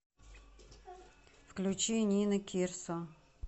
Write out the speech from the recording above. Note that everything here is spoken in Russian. включи нина кирсо